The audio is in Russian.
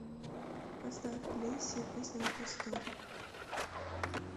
поставь лейся песня на просторе